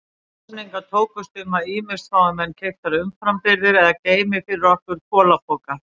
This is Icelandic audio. Samningar tókust um að ýmist fái menn keyptar umframbirgðir eða geymi fyrir okkur kolapoka.